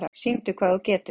Sýndu hvað þú getur!